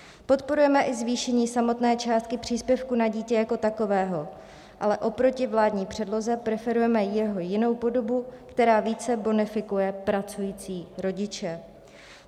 Podporujeme i zvýšení samotné částky příspěvku na dítě jako takového, ale oproti vládní předloze preferujeme jeho jinou podobu, která více bonifikuje pracující rodiče.